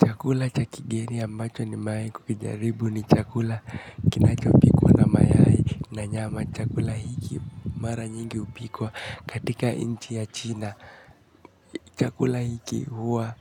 Chakula cha kigeni ambacho nimewahi kukijaribu ni chakula kinachopikwa na mayai na nyama. Chakula hiki mara nyingi hupikwa katika nchi ya China. Chakula hiki huwa